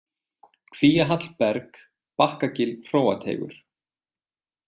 Kvíahall, Berg, Bakkagil, Hróateigur